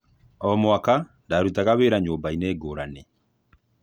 O mwaka ndarutaga wĩra nyũmbainĩ ngũrani.